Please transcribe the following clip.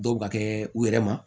Dɔw bɛ ka kɛ u yɛrɛ ma